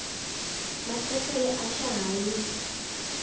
maasesele a swa ha yi